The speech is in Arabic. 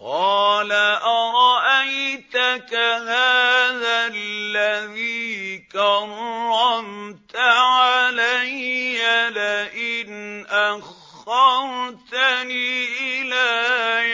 قَالَ أَرَأَيْتَكَ هَٰذَا الَّذِي كَرَّمْتَ عَلَيَّ لَئِنْ أَخَّرْتَنِ إِلَىٰ